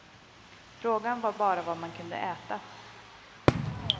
Frågan var bara vad man kunde äta.